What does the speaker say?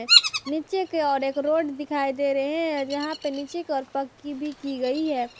नीचे के ओर एक रोड दिखाई दे रहे हैं जहां पर नीचे ओर पक्की भी की गई है।